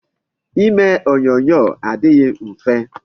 Ime onyonyo adịghị mfe.